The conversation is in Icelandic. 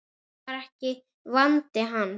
Það var ekki vandi hans.